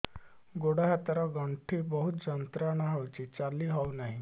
ଗୋଡ଼ ହାତ ର ଗଣ୍ଠି ବହୁତ ଯନ୍ତ୍ରଣା ହଉଛି ଚାଲି ହଉନାହିଁ